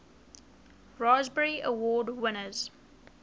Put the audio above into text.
raspberry award winners